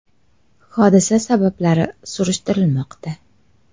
Hodisa sabablari surishtirilmoqda.